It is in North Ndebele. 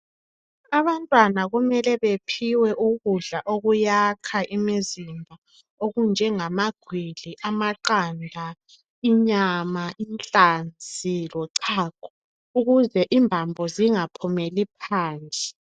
Abantwana kumele bephiwe ukudla okuyakha imizimba okunjenzaba gwili, amaqanda, inyama, inhlanzi lochago ukuze imbambo zingaphumeli phansi